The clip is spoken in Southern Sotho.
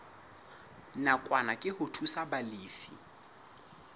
nakwana ke ho thusa balefi